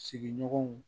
Sigiɲɔgɔnw